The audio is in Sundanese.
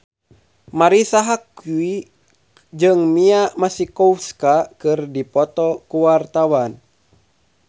Marisa Haque jeung Mia Masikowska keur dipoto ku wartawan